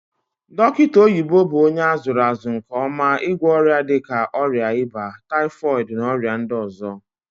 Dokita oyibo bu onye azuru azu nke oma igwo oria dika oria iba, typhooid na oria ndi ozo.